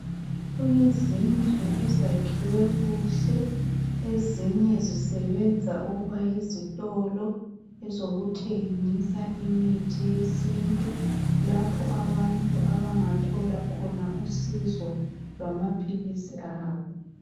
Kulezindlu ezakhiwe kuhle. Ezinye zisebenza ukuba yizitolo ezokuthengisa imithi yesintu lapho abantu abangathola khona usizo lwamaphilisi abo.